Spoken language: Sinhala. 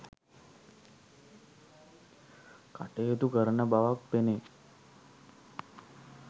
කටයුතු කරන බවක් පෙනේ.